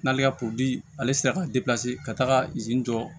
N'ale ka ale sera ka ka taga izini jɔ